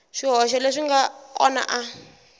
swihoxo leswi nga kona a